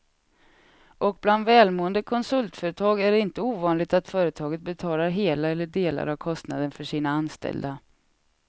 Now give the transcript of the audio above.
Och bland välmående konsultföretag är det inte ovanligt att företaget betalar hela eller delar av kostnaden för sina anställda.